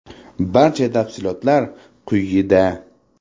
Barcha tafsilotlar quyida.